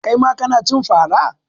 Kai ma kana cin fara?